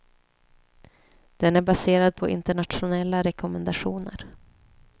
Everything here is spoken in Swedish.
Den är baserad på internationella rekommendationer.